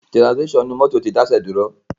Tirasimíṣan inú mọ́tò ti dáṣẹ́ dúró.